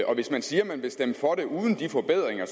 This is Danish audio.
og hvis man siger at man vil stemme for det uden de forbedringer